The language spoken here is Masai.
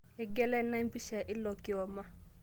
Eng'iela ina empisha ilo kioma